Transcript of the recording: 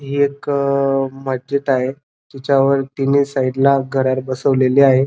ही एक अ मस्जिद आहे तिच्यावर तिन्ही साइडला घड्याळ बसवलेले आहे.